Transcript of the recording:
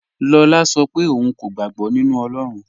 Lọlá ń ṣọ́ pẹ̀ ọ̀un kò gbàg̀bọ̀ nínu Ọlọ́run.